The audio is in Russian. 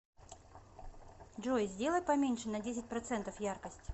джой сделай поменьше на десять процентов яркость